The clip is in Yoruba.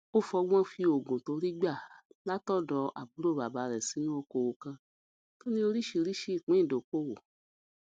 ó fọgbón fi ogún tó rí gbà látòdò àbúrò bàbá rè sínú okòwò kan tó ní oríṣiríṣi ìpín ìdókòwò